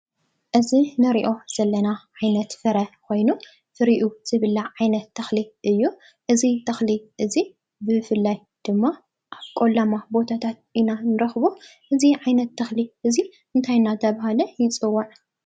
እዚ ንሪኦ ዘለና ዓይነት ፍረ ኾይኑ ፍሪኡ ዝብላዕ ዓይነት ተኽሊ እዩ፡፡ እዚ ተኽሊ ድማ ብፍላይ ኣብ ቆላማ ቦታታት ኢና ንረኽቦ፡፡ እዚ ዓይነት ተኽሊ እንታይ እናተባህለ ይፅዋዕ?